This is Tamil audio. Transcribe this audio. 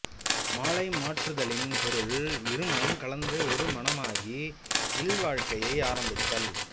மாலை மாற்றுதலின் பொருள் இருமனம் கலந்து ஒரு மனமாகி இல்வாழ்க்கையை ஆரம்பித்தல்